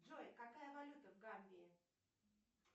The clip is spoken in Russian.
джой какая валюта в гамбии